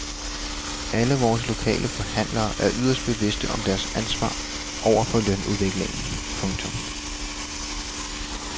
Alle vores lokale forhandlere er yderst bevidste om deres ansvar over for lønudviklingen. punktum